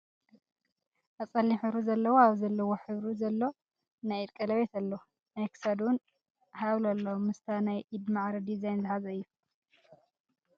ኣብ ፀሊም ሕብሪ ዘለዎ ኣብ ዘለዎ ሕብሪ ዘሎ ናይ ኢድ ቀለቤት ኣሎ። ናይ ክሳድ እውን ሃብል ኣሎ ምስታ ናይ ኢድ ማዕረ ድዛይን ዝሓዘ እዩ።